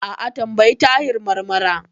A'a, tambayi Tahir Marmara.